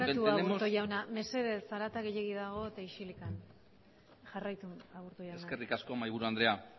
barkatu aburto jauna mesedez zarata gehiegi dago eta isilikan jarraitu aburto jauna eskerrik asko mahaiburu andrea